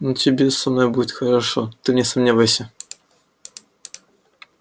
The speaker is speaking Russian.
но тебе со мной будет хорошо ты не сомневайся